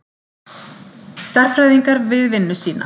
Stærðfræðingar við vinnu sína.